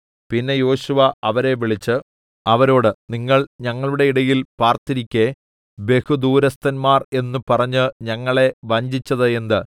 പിന്നെ യോശുവ അവരെ വിളിച്ച് അവരോട് നിങ്ങൾ ഞങ്ങളുടെ ഇടയിൽ പാർത്തിരിക്കെ ബഹുദൂരസ്ഥന്മാർ എന്ന് പറഞ്ഞ് ഞങ്ങളെ വഞ്ചിച്ചത് എന്ത്